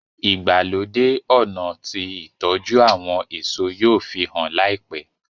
ìgbàlódé ọnà tí ìtọjú àwọn èso yóò fihàn láìpé.